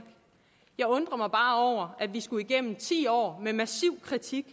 jeg undrer mig bare over at vi skulle gennem ti år med massiv kritik